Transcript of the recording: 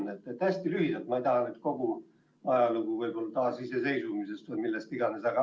Ma ei taha praegu kuulda kogu ajalugu, aga ehk hästi lühidalt, võib-olla taasiseseisvumisest peale või millest iganes.